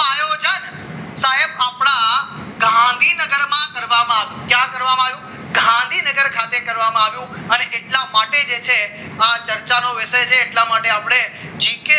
ગાંધીનગરમાં કરવામાં આવ્યું. કયા કરવામાં આવ્યું ગાંધીનગર ખાતે કરવામાં આવ્યું અને એટલા માટે જે છે આ ચર્ચાનો વિષય છે એટલા માટે આપણે જીકે